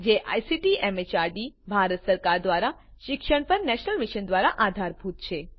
જે ICT MHRD Bharat સરકાર દ્વારા શિક્ષણ પર નેશનલ મિશન દ્વારા આધારભૂત છે